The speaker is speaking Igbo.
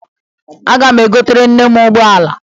Aga m egotere nne m ụgbọ ala